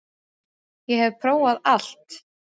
Ég hef prófað allt!